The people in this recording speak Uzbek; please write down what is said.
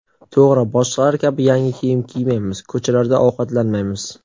To‘g‘ri, boshqalar kabi yangi kiyim kiymaymiz, ko‘chalarda ovqatlanmaymiz.